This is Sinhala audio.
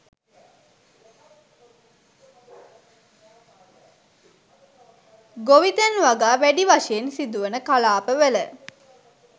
ගොවිතැන් වගා වැඩි වශයෙන් සිදුවන කලාප වල